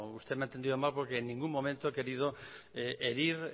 usted me ha entendido mal porque en ningún momento he querido herir